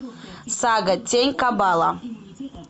сага тень кабала